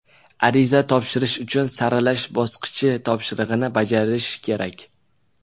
Ariza topshirish uchun saralash bosqichi topshirig‘ini bajarish kerak.